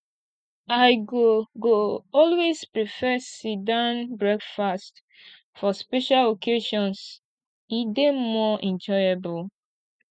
i go go always prefer sitdown breakfast for special occasions e dey more enjoyable